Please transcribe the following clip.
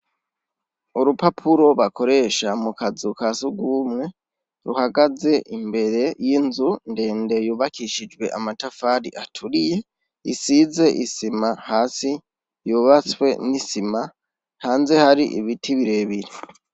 Urupapuro bakoresha mu kazuka si ugumwe ruhagaze imbere y'inzu ndende yubakishijwe amatafari aturiye isize isima hasi yubatswe n'isima hanze hari ibiti birebire.